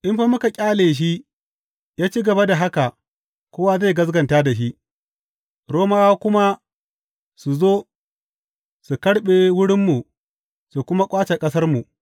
In fa muka ƙyale shi ya ci gaba da haka, kowa zai gaskata da shi, Romawa kuma su zo su karɓe wurinmu su kuma ƙwace ƙasarmu.